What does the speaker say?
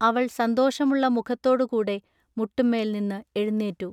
അവൾ സന്തോഷമുള്ള മുഖത്തോടു കൂടെ മുട്ടുമ്മേൽ നിന്നു എഴുനീറ്റു.